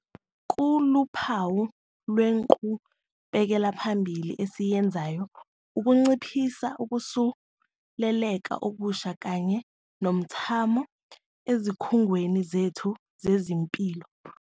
Kuluphawu lwenqubekelaphambili esiyenzayo ukunciphisa ukusuleleka okusha kanye nomthamo ezikhungweni zethu zezempilo.